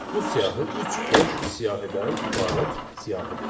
Bu siyahı üç boş siyahıdan ibarət siyahıdır.